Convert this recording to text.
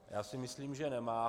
Já si myslím, že nemá.